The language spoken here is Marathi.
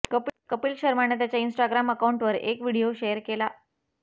कपिल शर्माने त्याच्या इन्स्टाग्राम अकाउंटवर एक व्हिडिओ शेअर केला